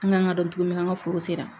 An kan ka dɔn cogo min na an ka foro sera